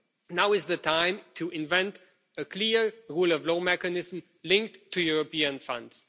be. Now is the time to invent a clear rule of law mechanism linked to European funds.